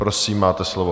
Prosím, máte slovo.